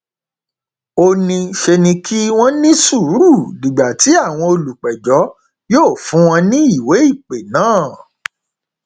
ó ní ṣe ni kí wọn ní sùúrù dìgbà tí àwọn olùpẹjọ yóò fún wọn ní ìwéìpè náà